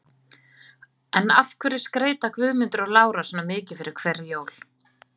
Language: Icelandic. En af hverju skreyta Guðmundur og Lára svona mikið fyrir hver jól?